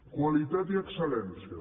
qualitat i excel·lència